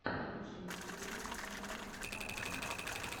лучшая серия центр архэ